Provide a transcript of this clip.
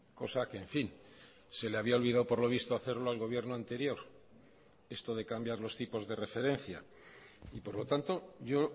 cosa que en fin se le había olvidado por lo visto hacerlo al gobierno anterior esto de cambiar los tipos de referencia y por lo tanto yo